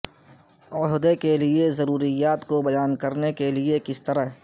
عہدے کے لئے کی ضروریات کو بیان کرنے کے لئے کس طرح